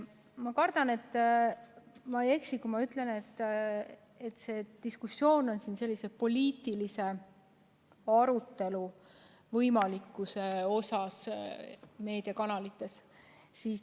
Ma arvan, et ma ei eksi, kui ütlen, et see diskussioon on siin poliitilise arutelu võimalikkuse üle meediakanalites.